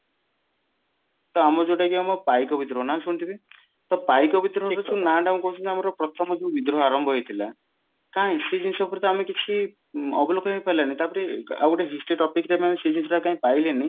ତ ଆମର ଯୋଉଟା କି ଆମ ପାଇକ ବିଦ୍ରୋହ ନା ଶୁଣିଥିବେ ତ ପାଇକ ବିଦ୍ରୋହ ନା ଟା କହୁଛନ୍ତି ଆମର ପ୍ରଥମ ଯୋଉ ବିଦ୍ରୋହ ଆରମ୍ଭ ହେଇଥିଲା କାଇଁ ସେ ଜିନିଷ ଉପରେ ତ ଆମେ କିଛି ଅବଲୋକ ହିଁ ହେଇ ପାରିଲାନି ତାପରେ ଆଉ ଗୋଟେ history topic ରେ କାଇଁ ସେ ଜିନିଷ ଟା ଆମେ ପାଇଲେନି